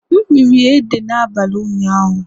M riri ji Ede n'abalị ụnyaahụ